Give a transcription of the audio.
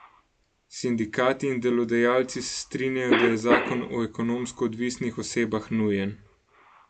Sindikati in delodajalci se strinjajo, da je zakon o ekonomsko odvisnih osebah nujen.